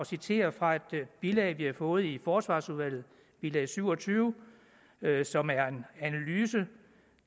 citerer fra et bilag vi har fået i forsvarsudvalget bilag syv og tyve som er en analyse